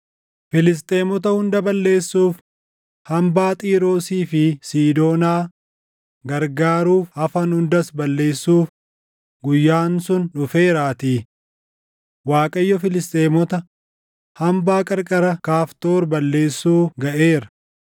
Filisxeemota hunda balleessuuf hambaa Xiiroosii fi Siidoonaa gargaaruuf hafan hundas balleessuuf guyyaan sun dhufeeraatii. Waaqayyo Filisxeemota, hambaa qarqara Kaftoor balleessuu gaʼeera.